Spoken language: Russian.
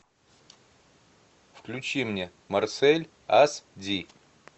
включи мне марсель ас ди